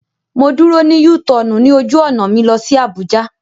Mo dúró ní U tọọnu ní ojú ọ̀nà mi lọ sí Abuja